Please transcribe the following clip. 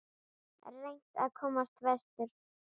Reynt að komast vestur